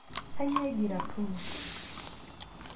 Kanyioo eji ratuni?.